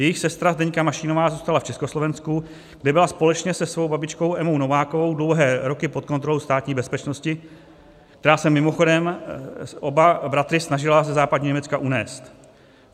Jejich sestra Zdeňka Mašínová zůstala v Československu, kde byla společně se svou babičkou Emou Novákovou dlouhé roky pod kontrolou Státní bezpečnosti, která se mimochodem oba bratry snažila ze západního Německa unést.